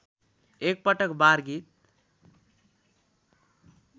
एकपटक बार गीत